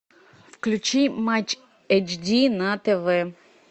включи матч эйч ди на тв